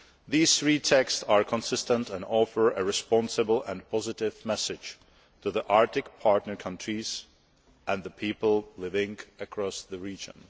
These three texts are consistent and offer a responsible and positive message to the Arctic partner countries and the people living across the region.